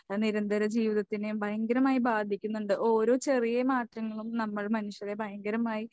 നിരന്തര ജീവിതത്തിനെയും ഭയങ്കരമായി ബാധിക്കുന്നുണ്ട്. ഓരോ ചെറിയ മാറ്റങ്ങളും നമ്മൾ മനുഷ്യരെ ഭയങ്കരമായി